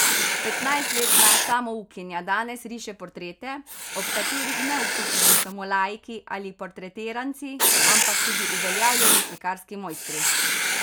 Petnajstletna samoukinja danes riše portrete, ob katerih ne osupnejo samo laiki ali portretiranci, ampak tudi uveljavljeni slikarski mojstri.